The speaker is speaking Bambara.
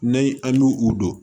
N'an an b'u u don